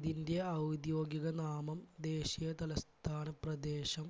ഇതിൻറെ ഔദ്യോഗിക നാമം ദേശീയ തലസ്ഥാന പ്രദേശം